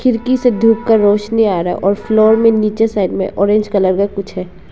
खिड़की से धूप का रौशनी आ रहा है और फ्लोर में नीचे साइड में ऑरेंज कलर का कुछ है।